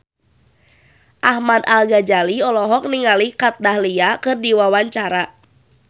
Ahmad Al-Ghazali olohok ningali Kat Dahlia keur diwawancara